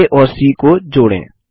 आ और सी को जोड़ें